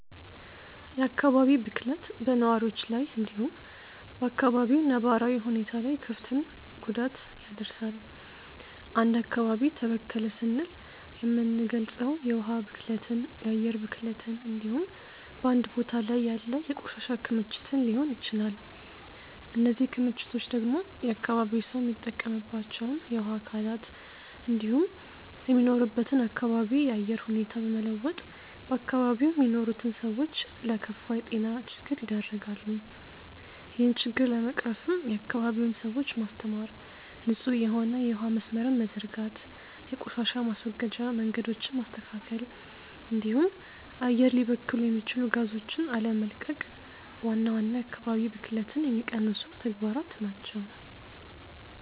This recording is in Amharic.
የአካባቢ ብክለት በነዋሪዎች ላይ እንዲሁም በ አካባቢው ነባራዊ ሁኔታ ላይ ክፍትን ጉዳት ያደርሳል። አንድ አካባቢ ተበከለ ስንል የምንልገጸው የውሀ ብክለትን፣ የአየር ብክለትን እንዲሁም በአንድ ቦታ ላይ ያለ የቆሻሻ ክምችትን ሊሆን ይችላል። እነዚህ ክምችቶች ደግሞ የአካባቢው ሰው የሚጠቀምባቸውን የውሀ አካላት እንዲሁም የሚኖርበትን አካባቢ የአየር ሁኔታ በመለወጥ በአካባቢው የሚኖሩትን ሰዎች ለከፋ የጤና ችግር ይደረጋሉ። ይህን ችግር ለመቅረፍም የአካባቢውን ሰዎች ማስተማር፣ ንጹህ የሆነ የውሀ መስመርን መዘርጋት፣ የቆሻሻ ማስወገጃ መንገዶችን ማስተካከል እንዲሁም አየር ሊበክሉ የሚችሉ ጋዞችን አለመቀቅ ዋና ዋና የአካባቢ ብክለትን የሚቀንሱ ተግባራት ናቸው።